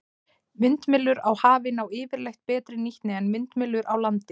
Vindmyllur á hafi ná yfirleitt betri nýtni en vindmyllur á landi.